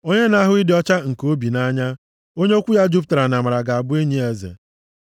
Onye na-ahụ ịdị ọcha nke obi nʼanya, onye okwu ya jupụtara nʼamara ga-abụ enyi eze.